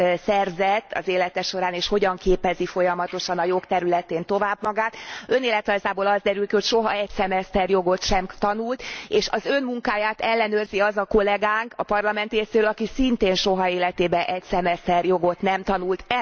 szerzett az élete során, és hogyan képezi folyamatosan a jog területén tovább magát. Önéletrajzából az derül ki, hogy soha egy szemeszter jogot sem tanult és az Ön munkáját ellenőrzi az a kollegánk a Parlament részéről, aki szintén soha életében egy szemeszter jogot nem tanult.